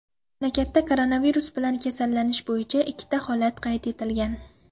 Mamlakatda koronavirus bilan kasallanish bo‘yicha ikkita holat qayd etilgan.